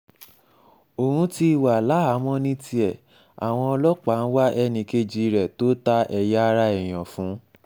òun ti wà láhàámọ̀ ní tiẹ̀ àwọn ọlọ́pàá ń wá ẹnì kejì rẹ̀ tó ta ẹ̀yà ara èèyàn fún